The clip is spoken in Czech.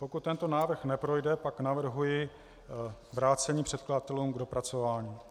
Pokud tento návrh neprojde, pak navrhuji vrácení předkladatelům k dopracování.